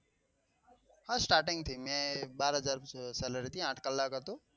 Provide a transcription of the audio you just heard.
starting થી મેં બાર હજાર salary થી આંઠ કલાક હતો.